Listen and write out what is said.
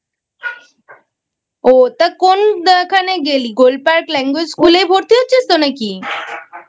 ও তা কোন খানে গেলি? Golpark language school এ ভর্তি হচ্ছিস তো নাকি?